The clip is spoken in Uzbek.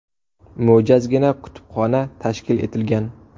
Mo‘jazgina kutubxona tashkil etilgan.